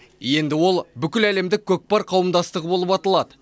енді ол бүкіләлемдік көкпар қауымдастығы болып аталады